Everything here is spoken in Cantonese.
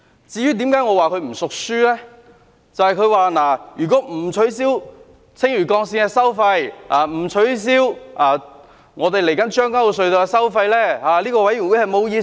就是他說如果不取消青嶼幹線的收費，以及將軍澳隧道的收費，這個法案委員會便沒有意思。